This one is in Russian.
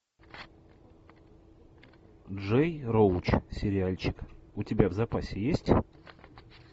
джей роуч сериальчик у тебя в запасе есть